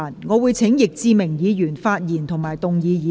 我請易志明議員發言及動議議案。